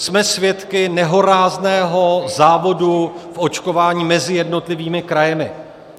Jsme svědky nehorázného závodu v očkování mezi jednotlivými kraji.